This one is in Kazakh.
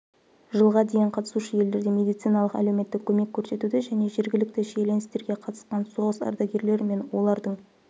жылға дейін қатысушы елдерде медициналық-әлеуметтік көмек көрсетуді және жергілікті шиеленістерге қатысқан соғыс ардагерлері мен олардың